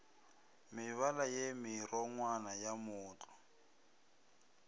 mebala ye merongwana ya mootlwa